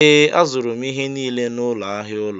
Ee, azụrụ m ihe niile n'ụlọ ahịa ụlọ.